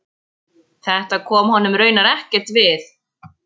Þetta kom honum raunar ekkert við.